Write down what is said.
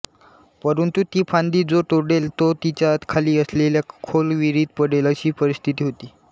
परंतु ती फांदी जो तोडेल तो तिच्या खाली असलेल्या खोल विहिरीत पडेल अशी परिस्थिती होती